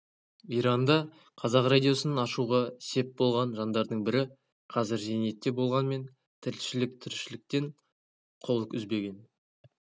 иранда қазақ радиосын ашуға сеп болған жандардың бірі қазір зейнетте болғанымен тілшілік тіршіліктен қол үзбеген